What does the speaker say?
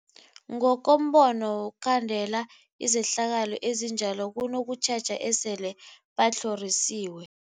Ngokombono wokhandela izehlakalo ezinjalo kunokutjheja esele batlhorisiwe.